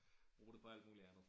Bruge det på alt muligt andet